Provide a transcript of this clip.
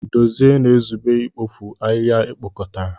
Dozie na-ezube ikpofu ahịhịa ekpokọtara.